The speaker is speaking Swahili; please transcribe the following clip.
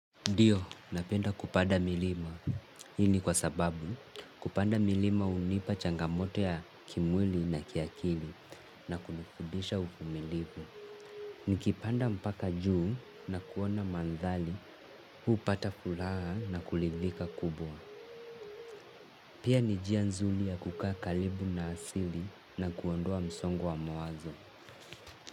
Ndio, napenda kupanda milima. Hii ni kwa sababu kupanda milima hunipa changamoto ya kimwili na kiakili na kunifundisha uvumilivu. Nikipanda mpaka juu na kuona mandhari, hupata furaha na kuridhika kubwa. Pia ni njia nzuri ya kukaa karibu na asili na kuondua msongo wa mawazo.